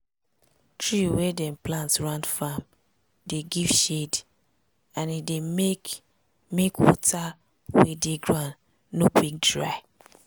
tree wey dem plant round farm dey give shade and e dey make make water wey dey ground no dey quick dry.